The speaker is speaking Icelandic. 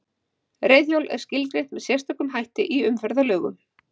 Reiðhjól er skilgreint með sérstökum hætti í umferðarlögum.